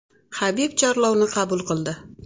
Habib chorlovni qabul qildi.